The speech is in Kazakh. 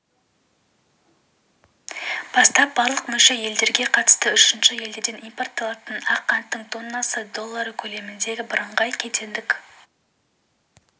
бастап барлық мүше елдерге қатысты үшінші елдерден импортталатын ақ қанттың тоннасы доллары көлемінде бірыңғай кедендік